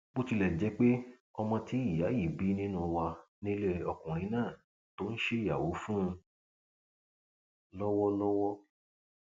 bó tilẹ jẹ pé ọmọ tí ìyá yìí bí nínú wa nílé ọkùnrin náà tó ń ṣèyàwó fún un lọwọlọwọ